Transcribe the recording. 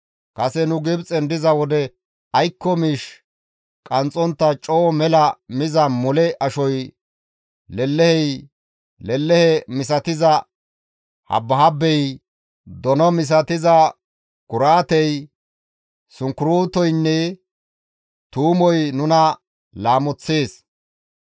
Kase nu Gibxen diza wode aykko miish qanxxontta coo mela miza mole ashoy, lelehey, lelehe misatiza habbihabbey, dono misatiza kuraatey, sunkurtoynne tuumoy nuna laamoththees.